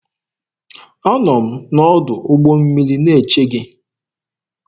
Anọ m n'ọdụ ụgbọ mmiri na-eche gị.